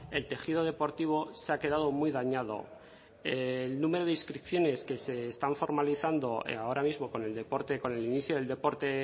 el tejido deportivo se ha quedado muy dañado el número de inscripciones que se están formalizando ahora mismo con el deporte con el inicio del deporte